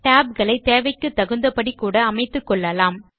tab களை தேவைக்கு தகுந்த படி கூட அமைத்துக்கொள்ளலாம்